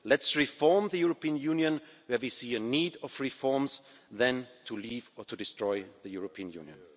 Let's reform the European Union where we see a need for reforms, rather than to leave or to destroy the European Union.